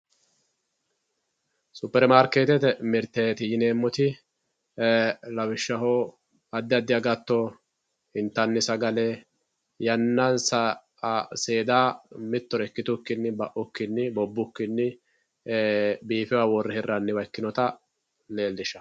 Super marketete mirteti yineemoti lawishshaho adi adi agato intani sagale yanansa mitore ikitukini seeda ba`uyikini bobukini biifewowa wore hiranita leelishano.